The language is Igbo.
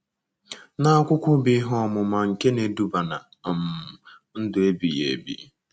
na akwụkwọ bụ́ Ihe Ọmụma nke Na-eduba ná um Ndụ Ebighị Ebi.